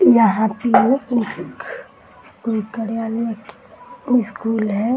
यहाँ पे एक कार्यालय की स्कूल है ।